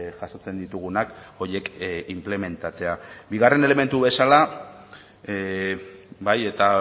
jasotzen ditugunak horiek inplementatzea bigarren elementu bezala bai eta